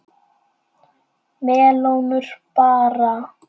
Melónur bara!